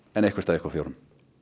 en eitthvert ykkar fjögurra